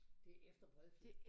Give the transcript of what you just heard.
Det efter Bredfjed